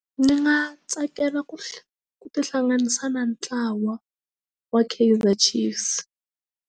Ni nga tsakela ku ku tihlanganisa na ntlawa wa Kaizer Chiefs.